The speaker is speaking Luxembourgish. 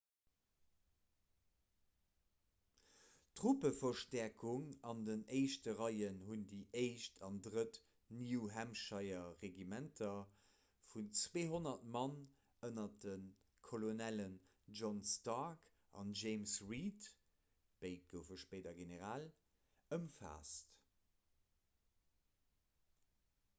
truppeverstäerkung an den éischte reien hunn déi 1. an 3. new-hampshire-regimenter vun 200 mann ënner de kolonellen john stark an james reed béid goufe spéider genereel ëmfaasst